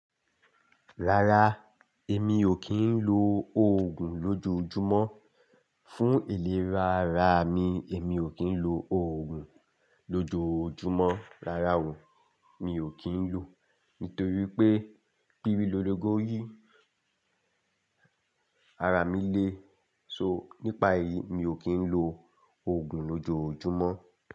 Rárá, èmi ò kí ń lo òògùn lójoojúmọ́. Fún ìlera ara mi, èmi ò kí ń lo òògùn lójoojúmọ́. Rárá o, mi ò kí ń lo nítorí pé pírí lologo jí, ara mi le. So nípa èyí, mi ò kí ń lo òògùn lójoojúmọ́